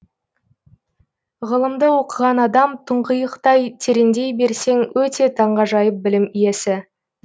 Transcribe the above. ғылымды оқыған адам тұңғиықтай тереңдей берсең өте таңғажайып білім иесі